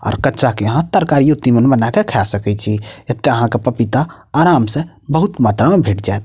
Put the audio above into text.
आर कच्चा के अहाँ तरकारीयो तिमान बना के खा सके छी एते यहाँ के पपीता आराम से बहुत मात्रा में भेट जाएत।